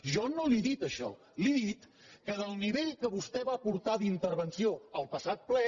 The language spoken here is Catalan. jo no li he dit això li he dit que del nivell que vostè va portar d’intervenció al passat ple